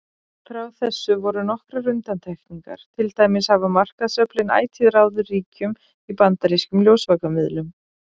Frá þessu voru nokkrar undantekningar, til dæmis hafa markaðsöflin ætíð ráðið ríkjum í bandarískum ljósvakamiðlum.